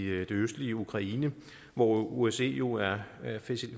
østlige ukraine hvor osce jo er